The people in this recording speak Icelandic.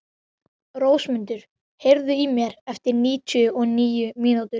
Rósmundur, heyrðu í mér eftir níutíu og níu mínútur.